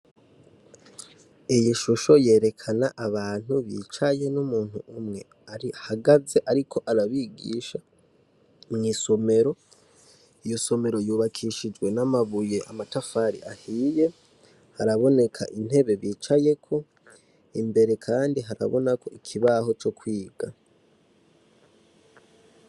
Iyi ishusho yerekana abantu bicaye numuntu umwe ahagaze ariko arabigisha, mwisomero, iyo somero yubakishijwe namabuye amatafari ahiye, haraboneka intebe bicayeko, imbere kandi haraboneka ikibaho co kwiga .